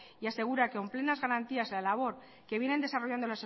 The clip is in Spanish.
y asegurar con plenas garantías la labor que vienen desarrollando